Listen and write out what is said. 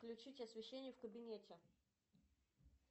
включить освещение в кабинете